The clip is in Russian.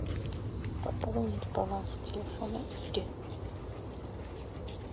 пополнить баланс телефона ире